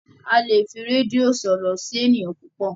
a lẹ fí Redio sọrọ sí ènìyàn púpọ